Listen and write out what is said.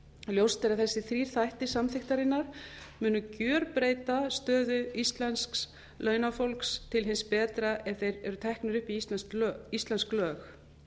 ljóst er að þessir þrír þættir samþykktarinnar munu gerbreyta stöðu íslensks launafólks til hins betra ef þeir eru teknir upp í íslensk lög